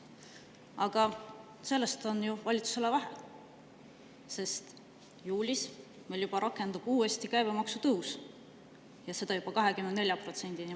Aga sellest on ju valitsusele vähe, sest juulis meil rakendub juba uuesti käibemaksu tõus ja seda juba 24%‑ni.